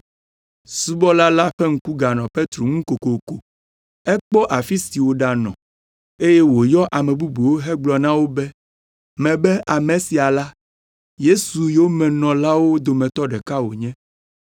Subɔla la ƒe ŋku ganɔ Petro ŋu kokoko. Ekpɔ afi si wòɖanɔ eye wòyɔ ame bubuwo hegblɔ na wo be, “Mebe ame sia la, Yesu yomenɔlawo dometɔ ɖeka wònye.”